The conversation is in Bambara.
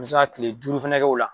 N bɛ se ka tile duuru fana k'o la